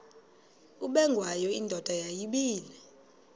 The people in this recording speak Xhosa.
ubengwayo indoda yayibile